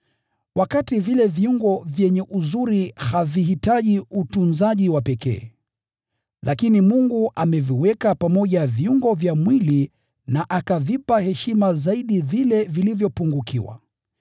wakati vile viungo vyenye uzuri havihitaji utunzaji wa pekee. Lakini Mungu ameviweka pamoja viungo vya mwili na akavipa heshima zaidi vile vilivyopungukiwa,